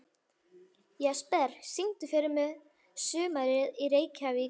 Jesper, syngdu fyrir mig „Sumarið í Reykjavík“.